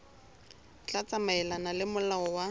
tla tsamaelana le molao wa